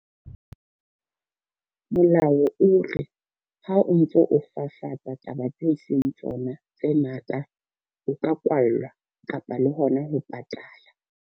Molao o re ha o ntso o fafatsa taba tse seng tsona tse ngata, o ka kwallwa kapa le hona ho patala.